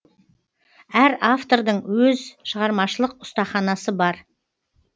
әр автордың өз шығармашылық ұстаханасы бар